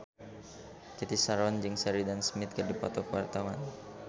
Cathy Sharon jeung Sheridan Smith keur dipoto ku wartawan